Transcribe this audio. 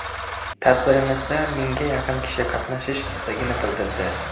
Tadbirimizda mingga yaqin kishi qatnashish istagini bildirdi.